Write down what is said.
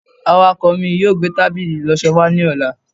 awakọ mi yíò gbe tábìlì ìloso wa ni ọla